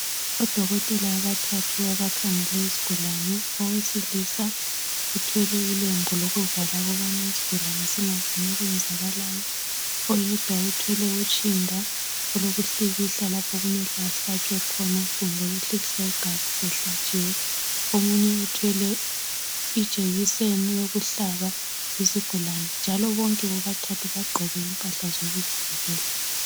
Odokotela abathathu abakhangele isigulani owesilisa uthwele ilembu lokuvala ukubana isigulane singaboni okwenzakalayo oyedwa uthwele utshinda olokuhlikihla lapho okumele ahlatshwe khona kumbe ukuhlikihla igazi sehlatshiwe omunye uthwele ijekiseni yokuhlaba isigulane njalo bonke bobathathu bagqoke impahla zokuzivikela.